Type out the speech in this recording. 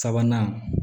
Sabanan